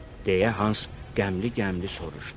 Deyə Hans qəmli-qəmli soruşdu.